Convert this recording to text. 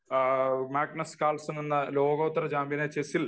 Magnus Carlsen എന്ന ലോകോത്തര ചാമ്പ്യനെ ചെസ്സിൽ